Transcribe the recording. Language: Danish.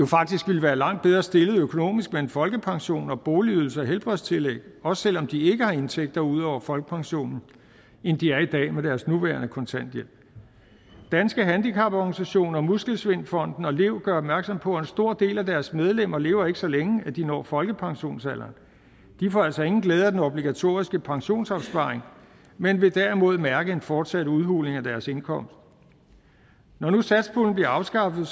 faktisk ville være langt bedre stillede økonomisk med en folkepension boligydelse og helbredstillæg også selv om de ikke har indtægter ud over folkepensionen end de er i dag med deres nuværende kontanthjælp danske handicaporganisationer muskelsvindfonden og lev gør opmærksom på at en stor del af deres medlemmer ikke lever så længe at de når folkepensionsalderen de får altså ingen glæde af den obligatoriske pensionsopsparing men vil derimod mærke en fortsat udhuling af deres indkomst når nu satspuljen bliver afskaffet